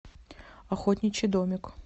охотничий домик